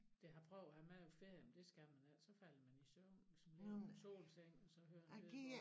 Det har prøvet at have med på ferien men det skal man ikke så falder man i søvn hvis man ligger på solsengen og så hører en lydbog